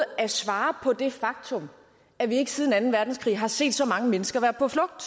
at svare på det faktum at vi ikke siden anden verdenskrig har set så mange mennesker på flugt